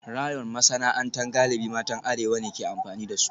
Rayon masana'anta galibi matan arewa ne ke amfani da su